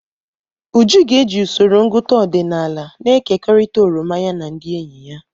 Uju ga-eji usoro ngụta ọdịnala na-ekekọrịta oroma ya na ndị enyi ya.